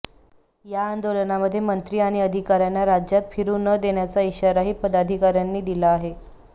या आंदोलनामध्ये मंत्री आणि अधिकार्यांना राज्यात फिरू न देण्याचा इशाराही पदाधिकार्यांनी दिला आहे